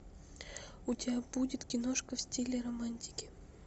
у тебя будет киношка в стиле романтики